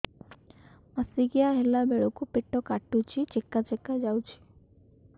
ମାସିକିଆ ହେଲା ବେଳକୁ ପେଟ କାଟୁଚି ଚେକା ଚେକା ଯାଉଚି